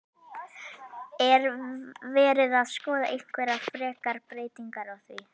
Er verið að skoða einhverjar frekari breytingar á því?